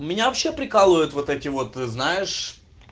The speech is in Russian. у меня вообще прикалывают вот эти вот знаешь